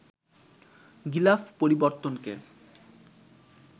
গিলাফ পরিবর্তনকে